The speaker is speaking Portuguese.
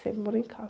Sempre morei em casa.